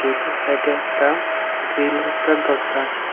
এটার সাইডে একটা গ্রিলের একটা দরজা আছে।